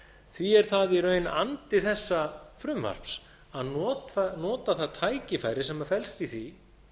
því er það í raun andi þessa frumvarps að nota það tækifæri sem felst í því